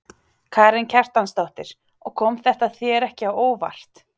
Karen Kjartansdóttir: Og kom þetta þér ekki á óvart?